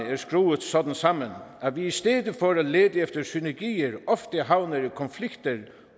er skruet sådan sammen at vi i stedet for at lede efter synergier ofte havner i konflikter